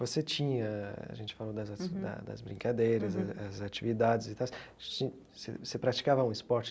Você tinha, a gente falou das da das brincadeiras, as as atividades e tais, você você praticava algum esporte